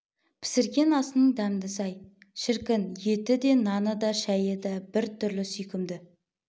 пісірген асының дәмдісі-ай шіркін еті де наны да шайы да бір түрлі сүйкімді